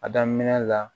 A daminɛ la